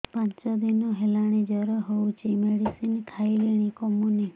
ପାଞ୍ଚ ଦିନ ହେଲାଣି ଜର ହଉଚି ମେଡିସିନ ଖାଇଲିଣି କମୁନି